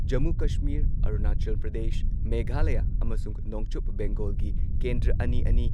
ꯖꯃꯨ ꯀꯥꯁꯃꯤꯔ, ꯑꯔꯨꯅꯥꯆꯜ ꯄ꯭ꯔꯗꯦꯁ, ꯃꯦꯘꯥꯂꯌ ꯑꯃꯁꯨꯡ ꯅꯣꯡꯆꯨꯞ ꯕꯦꯡꯒꯣꯜꯒꯤ ꯀꯦꯟꯗ꯭ꯔ ꯑꯅꯤꯑꯅꯤ,